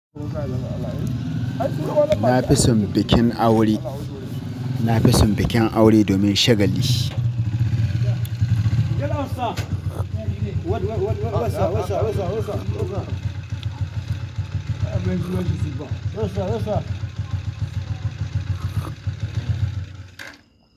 Na fi son bikin aure. Na fi son bikin aure domin shagali.